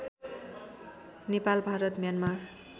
Nepal Bharat Myanmar